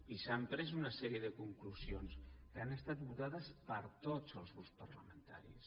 i s’han pres una sèrie de conclusions que han estat votades per tots els grups parlamentaris